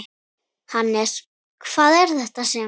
Hannes, hvað er þetta sem?